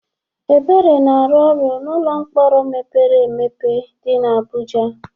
Ebere na-arụ ọrụ n'ụlọ mkpọrọ mepere emepe dị n'Abuja.